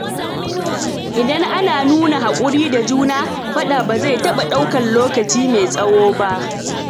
Idan ana nuna haƙuri da juna, faɗa ba zai taɓa ɗaukar lokaci mai tsawo ba.